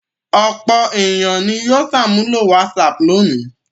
Ọ̀pọ̀ ènìyàn ni yóò ṣàmúlò WhatsApp lónìí.